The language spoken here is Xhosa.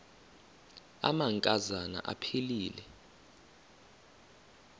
amanka zana aphilele